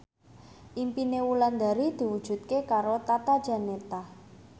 impine Wulandari diwujudke karo Tata Janeta